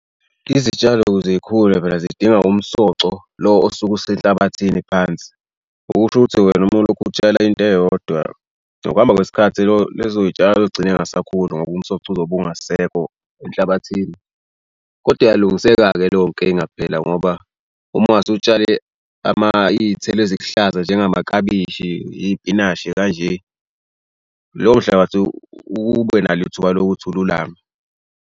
Izitshalo ukuze yikhule phela zidinga umsoco lo osuke usenhlabathini phansi. Okusho ukuthi wena uma ulokhu utshela into eyodwa ngokuhamba kwesikhathi. Lo lezo y'tshalo zogcine ngasakhuli ngoba umsoco uzobe ungasekho enhlabathini. Kodwa iyalungiseka-ke leyo nkinga phela ngoba uma ngase utshale iy'thelo ezikuhlaza njengenamaklabishi iy'pinashi kanje. Lowo mhlabathi ube nalo ithuba lokuthi ululame.